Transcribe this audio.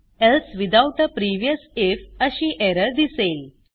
else without a previous I F अशी error दिसेल